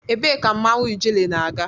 Ebee ka mmanwụ ijele na-aga?